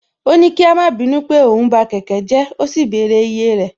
Ó ní kí a má bínú pé òun ba kẹ̀kẹ́ jẹ́ ó sì bẹ̀rẹ̀ iye rẹ̀